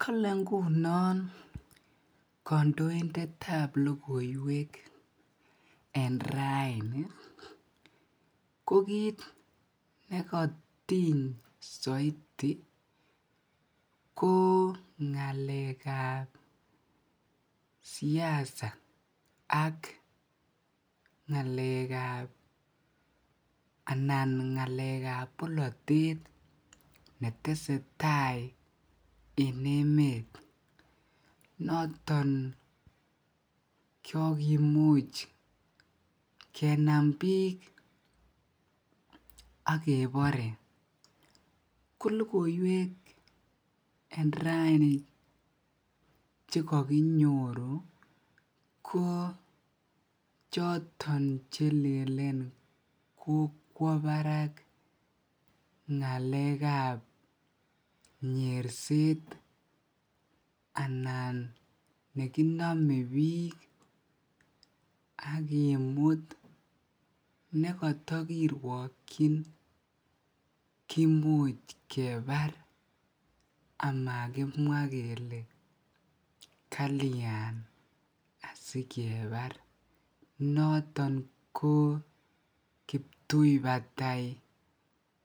Kolee ngunon kondoindetab lokoiwek en raini ko kiit nekotiny soiti ko ngalekab siasa ak ngalekab anan ngalekab bolotet netesetai en eme noton kokimuch kenam biik ak kebore ak ko lokoiwek en raini chekokinyoru ko choton chelelen kokwo barak ngalekab nyerset anan nekinomebiik ak kimut nekotokirwokyin kimuch kebar amakimwa kelee kalyan asikebar, noton ko kiptui batai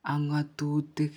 ak ngotutik.